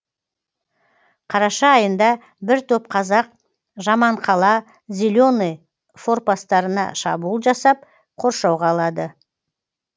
қараша айында бір топ қазақ жаманқала зеленый форпостарына шабуыл жасап қоршауға алады